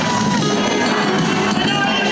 İran!